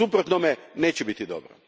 U suprotnome neće biti dobro.